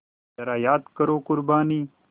ज़रा याद करो क़ुरबानी